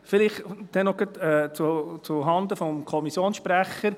Vielleicht auch noch gleich zuhanden des Kommissionssprechers: